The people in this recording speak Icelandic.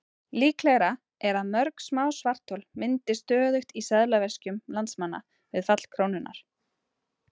Líklegra er að mörg smá svarthol myndist stöðugt í seðlaveskjum landsmanna við fall krónunnar.